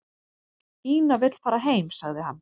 """Ína vill fara heim, sagði hann."""